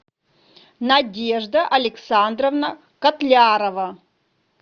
надежда александровна котлярова